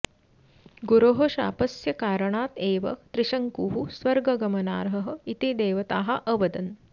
गुरोः शापस्य कारणात् एव त्रिशङ्कुः स्वर्गगमनार्हः इति देवताः अवदन्